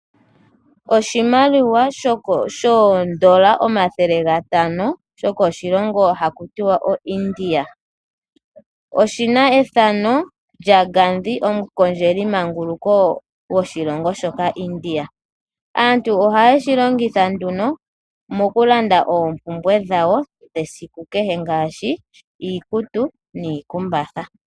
Oshimaliwa shoondola omathele gatano, sho ko shilongo hakuti wa oIndia. Oshina ethano lya Ngandhi, omukondjelimanguluko woshilongo shoka India. Aantu ohayeshi longitha nduno mokulanda oompumbwe dhawo dhesiku kehe ngaashi, iikutu niikumbatha.